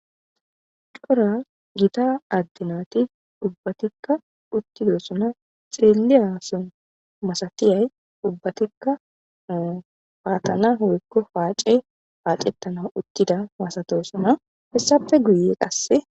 cora gita addenati ubbatikka uttidosona xireeliyason masatiyay ubbatikka paatana hoykko paace paacettana uttida masatosona hessafe guye qasse